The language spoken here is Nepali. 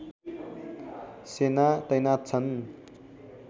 सेना तैनाथ छन्